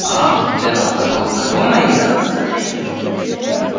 Samt er alltaf gott að koma hingað, sagði Einar.